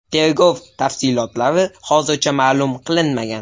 Tergov tafsilotlari hozircha ma’lum qilinmagan.